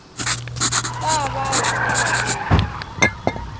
ta va hi ndlela leyi